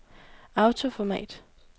autoformat